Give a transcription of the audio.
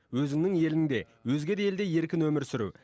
өзіңнің еліңде өзге де елде еркін өмір сүру